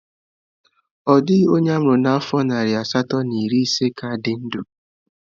Ọ dịghị onye a mụrụ n'afọ narị asatọ na iri ise ka dị ndụ